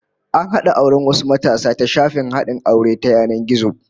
An hada auren wasu matasa ta shafin hadin aure ta yanan gizo